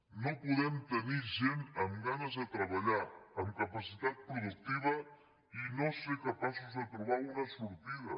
no podem tenir gent amb ganes de treballar amb capacitat productiva i no ser capaços de trobar una sortida